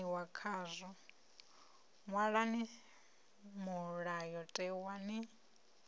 pfaniwa khazwo ṅwalani mulayotewa ni